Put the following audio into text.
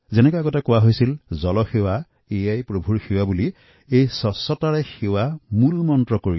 যিদৰে আগতে কোৱা হৈছিল যে জল সেৱাই প্ৰভু সেৱা আৰু স্বচ্ছতাই সেৱাও একেধৰণৰে